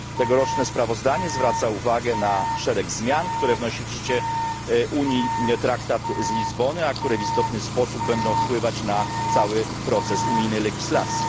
Tegoroczne sprawozdanie zwraca uwagę na szereg zmian, które wnosi w życie Unii traktat z Lizbony, a które w istotny sposób będą wpływać na cały proces unijnej legislacji.